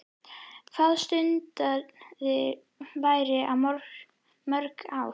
Hvað stundaðirðu vændi í mörg ár?